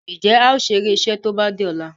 Njé ào ṣeré iṣé tó bá dì ola?